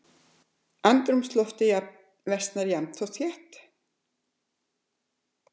Andrúmsloftið versnaði jafnt og þétt.